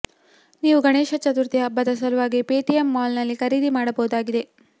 ನೀವು ಗಣೇಶ ಚತುರ್ಥಿ ಹಬ್ಬದ ಸಲುವಾಗಿ ಪೇಟಿಎಂ ಮಾಲ್ನಲ್ಲಿ ಖರೀದಿ ಮಾಡಬಹುದಾಗಿದೆ